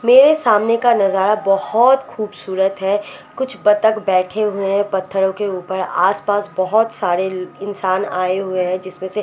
मेरे सामने का नज़ारा बोहोत खुबसूरत है कुछ बत्तख बेठे हुए है पथ्हरो के ऊपर आस पास बोहोत सरे इंसान आये हुए है जिसमे से छोटे छोटे --